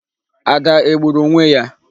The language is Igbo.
Ada egburu onwe ya?